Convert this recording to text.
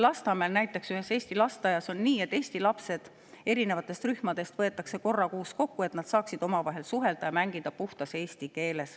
Näiteks Lasnamäel on ühes eesti lasteaias nii, et erinevate rühmade eesti lapsed võetakse kord kuus kokku, et nad saaksid omavahel suhelda ja mängida puhtas eesti keeles.